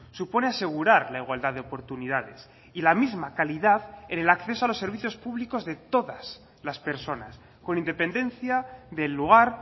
supone asegurar la igualdad de oportunidades y la misma calidad en el acceso a los servicios públicos de todas las personas con independencia del lugar